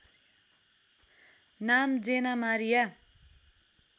नाम Jenna Maria